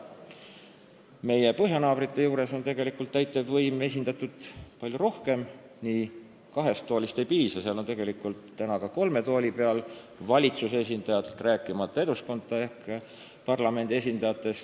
Meie põhjanaabrite juures on tegelikult täitevvõim seadusandlikes kogudes esindatud palju laiemalt, ka kahest toolist ei piisa, seal on tegelikult valitsuse esindajad ka kolme tooli peal, rääkimata Eduskunna ehk parlamendi esindajatest.